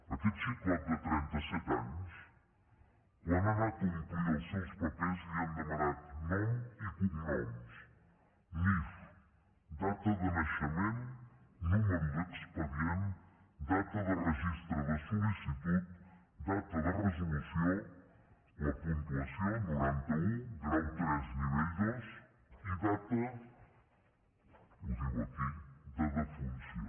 a aquest xicot de trentaset anys quan ha anat a omplir els seus papers li han demanat nom i cognoms nif data de naixement número d’expedient data de registre de sol·licitud data de resolució la puntuació noranta un grau tres nivell dos i data ho diu aquí de defunció